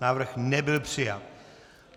Návrh nebyl přijat.